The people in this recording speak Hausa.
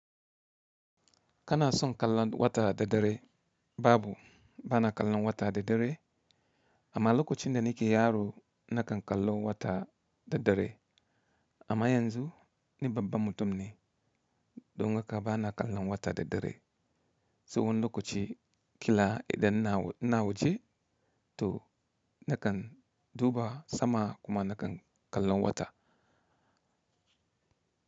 Kana son kallon wata da dare? Babu, bana kallon wata da dare. Amma lokacin da nake yaro na kan kallo wata da dare. Amma yanzu ni babban mutum ne don haka bana kallon wata da dare. Tsawon lokaci kila idan na na waje to na kan duba sama kuma na kan kallon wata.